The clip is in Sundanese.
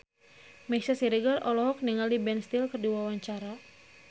Meisya Siregar olohok ningali Ben Stiller keur diwawancara